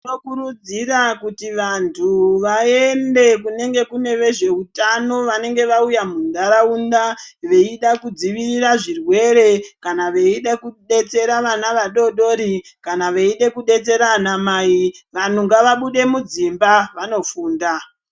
Toda kukurudzira kuti vanthu, vaende, kunenge kune vezveutano vanenge vauya muntharaunda, veida kudzivirira zvirwere, kana veide kudetsera ana adoodori, kana veide kudetsera ana mai, vanthu ngavabude mudzimba, vanofunda.